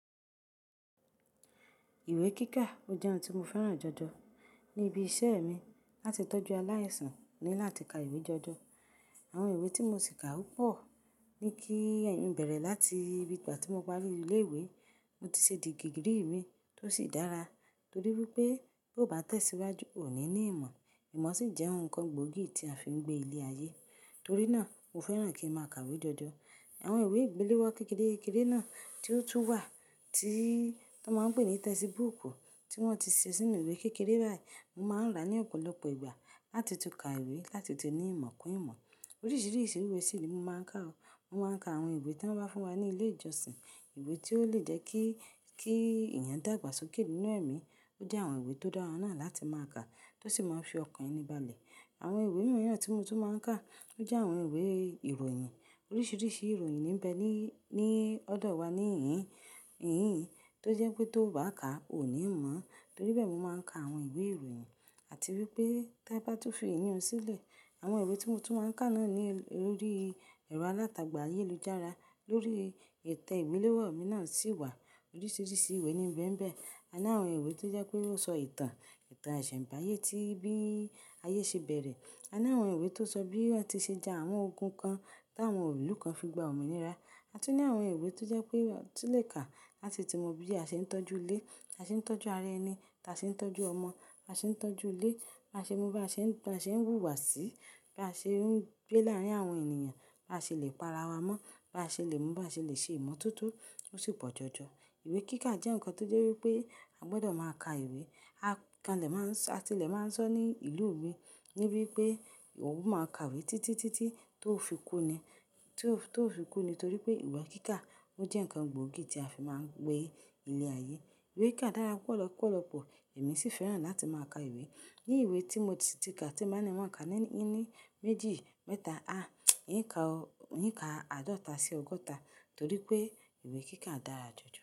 Ìwé kíkà ó jẹ́ ohun tí mo fẹ́ràn jọjọ níbi iṣẹ́ mi. Láti tọ́jú aláìsàn mo ni láti ka ìwé jọjọ. Àwọn ìwé tí mo sì kà ó pọ̀, ní kí ẹ̀yin bẹ̀rẹ̀ láti ìgbà tí mo parí ilé ìwé, mo ti ṣe digi giri mi tó sì dára torí wípé bí ó bá tẹ̀síwájú, ò ní ní ìmọ̀. Ìmọ̀ sì jẹ́ ohun kan gbòógì tí a fi ń gbé ilé ayé. Torí náà mo fẹ́ràn kí n máa ka ìwé jọjọ. Àwọn ìwé ìgbéléwọ́ kékeré-kékeré náà tí ó tún wà tí wọ́n máa ń pè ní textbook tí wọ́n ti ṣe sínú ìwé kékeré báyìí, mo máa ń rà ní ọ̀pọ̀lọpọ̀ ìgbà láti tún ka ìwé, láti tún ní ìmọ̀ kún ìmọ̀. Oríṣiríṣi ìwé sì ni mo máa ń kà o. Mo máa ń ka àwọn ìwé tí wọ́n bá fún wa ní ilé ìjọsìn. Ìwé tí ó lè jẹ́ kí, kí èèyàn dàgbàsókè nínú ẹ̀mí, ó jẹ́ àwọn ìwé tó dára náà láti máa kà tó sì má ń fi ọkàn mi balẹ̀. Àwọn ìwé mìíràn tí mo tún máa ń kà, ó jẹ́ àwọn ìwé ìròyìn. Oríṣiríṣi ìròyìn níbẹ̀ ní, ní ọ̀dọ̀ wa ní ìhín, ìhín tó jẹ́ pé tó o bá kà, ò ní ìmọ̀. Torí bẹ́ẹ̀ mo máa ń ka àwọn ìwé ìròyìn. A ti wípé tí ẹ bá tún fì iyún sílẹ̀, àwọn ìwé tí mo tún máa ń kà náà ni lórí ẹ̀rọ alátagbà ayélujára, lórí ìtẹ́ ìmiléwọ́ mi náà sì wà oríṣiríṣi ìwé ní n bẹ̀ níbẹ̀. A ní àwọn ìwé tó jẹ́ pé ó sọ ìtàn, ìtàn iṣẹ̀mbáyé tí bí ayé ṣe bẹ̀rẹ̀. A ní àwọn ìwé tó sọ bí a ti ṣe ja àwọn ogun kan táwọn ìlú kan fi gba òmìnira. A tún ní àwọn ìwé tó jẹ́ pé a tún lè kà láti ti mọ bí a ṣe ń tọ́jú ilé, bí a ṣe ń tọ́jú ara ẹni, bí a ṣe ń tọ́jú ọmọ, bí a ṣe ń tọ́jú ilé, bá ṣe ń, bá ṣe ń wùwàsí, bá ṣe ń gbé láàárín àwọn ènìyàn, bá ṣe lè para wa mọ́, bá ṣe lè mú, bá ṣe lè ṣe ìmọ̀ toto, ó sì pọ̀ jọjọ. Ìwé kíkà jẹ́ nǹkan tó jẹ́ wípé a gbọdọ̀ máa ka ìwé. A kanlẹ̀ máa ń sọ, àtilẹ̀ máa ń sọ ní ìlú mi níbí pé ò máa kàwé títí títí tó fi kú ni. Tó fi kú ni torí pé ìwé kíkà ó jẹ́ ǹkan gbòógì tí a fi máa ń gbé ilé ayé. Ìwé kíkà dára púpọ̀ lọpọ̀lọpọ̀, èmi sì fẹ́ràn láti máa ka ìwé. Ni ìwé tí mo ti ka tí máa ń ní n má ka ní ẹni méjì mẹ́ta, a ń ka, ń ka àádọ́ta sí ọgọ́ta torí pé ìwé kíkà dára jù jù.